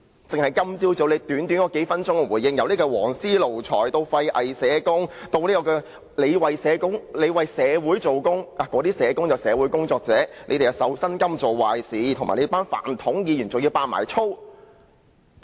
在他今早短短數分鐘的回應中，他提及"黃絲奴才"、"廢偽社工"、"我也是在為社會做工"、自己是"社會工作者"、有人"實在是受薪金作壞事"、"泛統議員"，甚至說粗話。